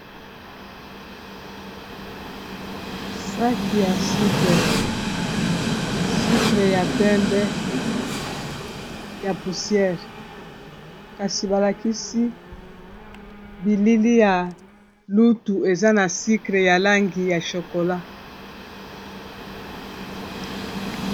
saki ya sucre sucre ya pembe ya poussière kasi balakisi bilili ya lutu eza na sucre ya langi ya chokola.